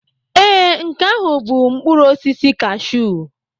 Ee, nke ahụ bụ mkpụrụ osisi kashụụ.